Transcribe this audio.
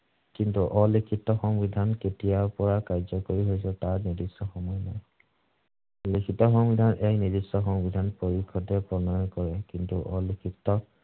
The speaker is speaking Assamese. কিন্তু, অলিখিত সংবিধান কেতিয়াৰ পৰা কাৰ্য্যকৰী হৈছে তাৰ নিৰ্দিষ্ট সময় নাই। লিখিত সংবিধান এক নিৰ্দিষ্ট সংবিধান পৰিসদে প্ৰণয়ন কৰে। কিন্তু, অলিখিত